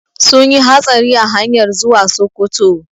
Sunyi hatsari a hanyar zuwa Sokoto